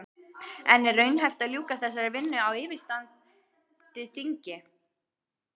En er raunhæft að ljúka þessari vinnu á yfirstandandi þingi?